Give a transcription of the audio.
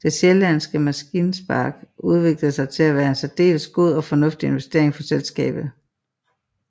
Den sjællandske maskinpark udviklede sig til at være en særdeles god og fornuftig investering for selskabet